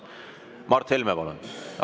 Mart Helme, palun!